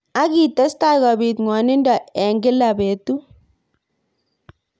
Ak kietestai kobit ngwnindo eng kila betut.